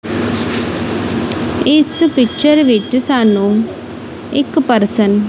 ਇਸ ਪਿਕਚਰ ਵਿੱਚ ਸਾਨੂੰ ਇੱਕ ਪਰਸਨ --